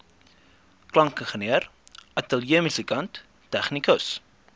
klankingenieur ateljeemusikant tegnikus